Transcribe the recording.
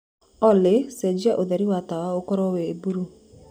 olly cenjĩa utheri wa tawa ũkorwo wi bulũũ